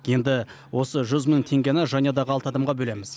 енді осы жүз мың теңгені жанұядағы алты адамға бөлеміз